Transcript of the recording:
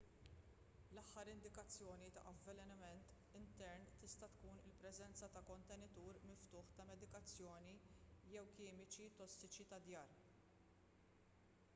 l-aħjar indikazzjoni ta' avvelenament intern tista' tkun il-preżenza ta' kontenitur miftuħ ta' medikazzjoni jew kimiċi tossiċi tad-dar